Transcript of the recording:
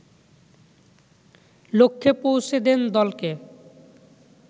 লক্ষ্যে পৌঁছে দেন দলকে